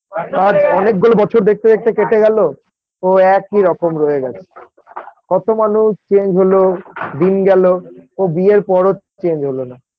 আজ অনেকগুলো বছর দেখতে দেখতে কেটে গেল ও একই রকম রয়ে গেছে কত মানুষ change হলো দিন গেল ও বিয়ের পরেও change হলো না।